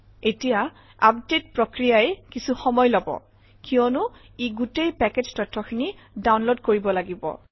এতিয়া আপডেট প্ৰক্ৰিয়াই কিছু সময় লব কিয়নো ই গোটেই পেকেজ তথ্যখিনি ডাউনলোড কৰিব লাগিব